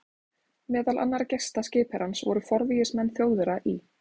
Meðal annarra gesta skipherrans voru forvígismenn Þjóðverja í